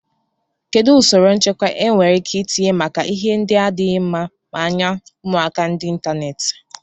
Kedụ usoro nchekwa e nwereike itinye maka ihe ndị adịghị mma maa anya ụmụaka n'Ịntanet?